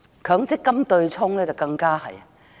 強積金對沖機制更加如是。